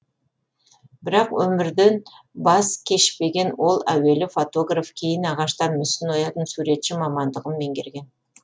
бірақ өмірден бас кешпеген ол әуелі фотограф кейін ағаштан мүсін оятын суретші мамандығын меңгерген